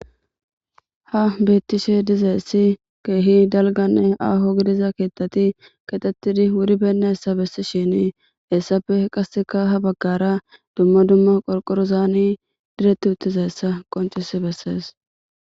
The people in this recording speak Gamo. Ha betishe dizaysi keppe ahone dalga gididaysa kethati kexeti wuri beyinasa besishin hesappe qaseka ha bagara duma duma qorqorozi direti uttidaysa qoncisi beses.